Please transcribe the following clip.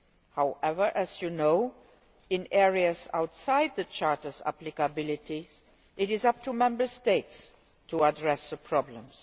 However, as you know, in areas outside the Charter's applicability it is up to Member States to address the problems.